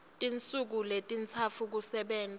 tinsuku letintsatfu kusebenta